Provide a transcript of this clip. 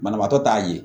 Banabaatɔ t'a ye